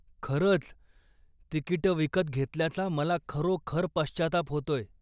खरंच, तिकिटं विकत घेतल्याचा मला खरोखर पश्चात्ताप होतोय.